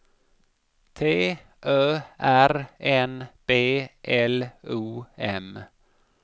T Ö R N B L O M